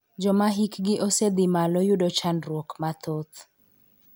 Joma hik gi osedhi malo yudo chandruok mathoth .